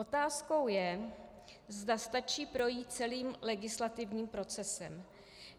Otázkou je, zda stačí projít celým legislativním procesem.